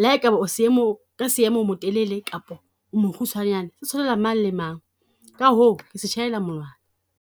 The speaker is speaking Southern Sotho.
le ha e ka ba o seemong, ka seemo o motelele kap o mokgutshwanyane. Se tshwanela mang le mang, ka hoo ke se tjhaela monwana.